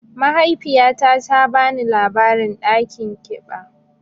Mahaifiyata ta bani labarin dakin kiɓa.